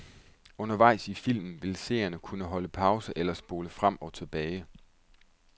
Undervejs i filmen vil seerne kunne holde pause eller spole frem og tilbage.